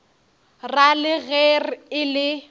ra le ge e le